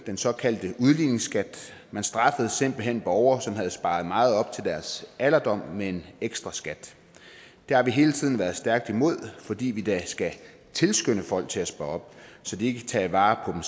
den såkaldte udligningsskat man straffede simpelt hen borgere som havde sparet meget op til deres alderdom med en ekstraskat det har vi hele tiden været stærkt imod fordi vi da skal tilskynde folk til at spare op så de kan tage vare